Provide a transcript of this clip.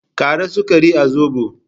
Ƙara sukari a Zobon